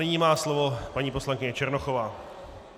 Nyní má slovo paní poslankyně Černochová.